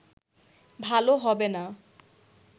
ভালো হবেনা